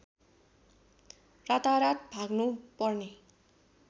रातारात भाग्नु पर्ने